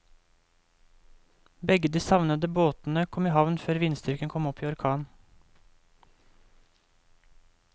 Begge de savnede båtene kom i havn før vindstyrken kom opp i orkan.